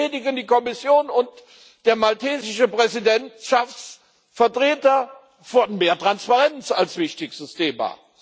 Und hier predigen die Kommission und der maltesische Präsidentschaftsvertreter von mehr Transparenz als wichtigstem Thema.